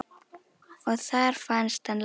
Og þar fannst hann látinn.